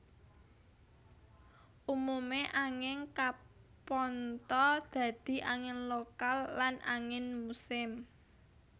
Umumé angin kapantha dadi angin lokal lan angin musim